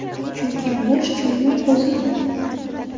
Chunki, bo‘sh joyning o‘zi yo‘q.